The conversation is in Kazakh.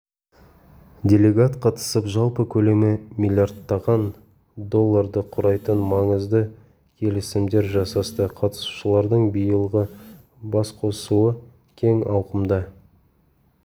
делегат қатысып жалпы көлемі миллиардтаған долларды құрайтын маңызды келісімдер жасасты қатысушылардың биылғы басқосуы кең ауқымда